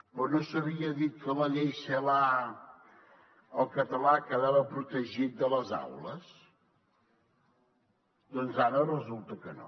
però no s’havia dit que a la llei celaá el català quedava protegit a les aules doncs ara resulta que no